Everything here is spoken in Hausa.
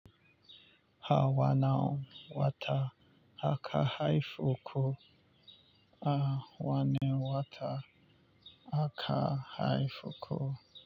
A wanne wata aka haife ku? A wane wata aka haifi ku?